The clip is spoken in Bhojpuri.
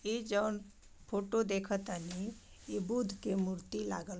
इ जोहन फोटो देखटनी इ बुध की मूर्ति लागल--